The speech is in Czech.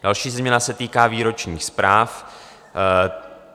Další změna se týká výročních zpráv.